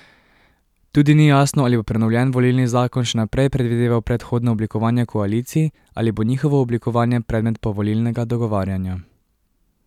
Tudi ni jasno ali bo prenovljen volilni zakon še naprej predvideval predhodno oblikovanje koalicij ali bo njihovo oblikovanje predmet povolilnega dogovarjanja.